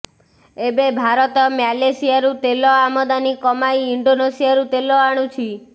ଏବେ ଭାରତ ମ୍ୟାଲେସିଆରୁ ତେଲ ଆମଦାନୀ କମାଇ ଇଣ୍ଡୋନେସିଆରୁ ତେଲ ଆଣୁଛି